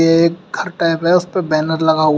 यह एक घर टाइप है उस पर बैनर लगा हुआ--